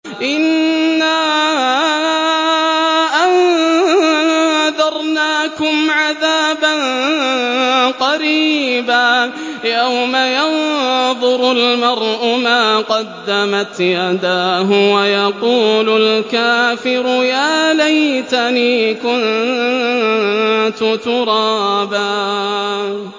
إِنَّا أَنذَرْنَاكُمْ عَذَابًا قَرِيبًا يَوْمَ يَنظُرُ الْمَرْءُ مَا قَدَّمَتْ يَدَاهُ وَيَقُولُ الْكَافِرُ يَا لَيْتَنِي كُنتُ تُرَابًا